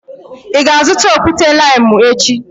Ị ga-azụta okwute-limu echi?